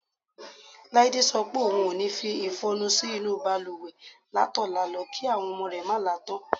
Láídé so̩ pé ohun o ní fi ìfo̩nu sí inú balùwè látò̩la lo̩ kí àwo̩n o̩mo̩ rè̩ má la tán.